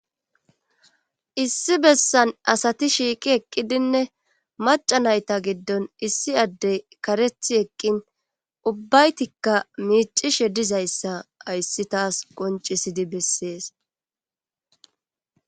Issi bessan asati shiiqi eqqidinne maca nayta giddon issi addey karethi eqqin ubbaytikka miicishe dizayssa ayssi taas qoncisidi bessees.